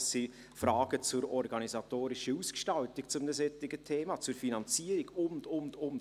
Es sind Fragen zur organisatorischen Ausgestaltung eines solchen Themas, zur Finanzierung und so weiter.